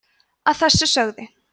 að þessu sögðu